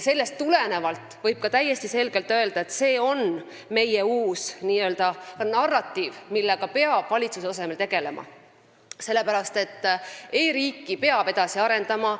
Seega võib täiesti selgelt öelda, et see on meie uus n-ö narratiiv, millega peab valitsuse tasemel tegelema, sellepärast et e-riiki peab edasi arendama.